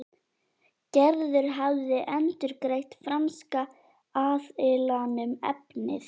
Gerður hafði endurgreitt franska aðilanum efnið.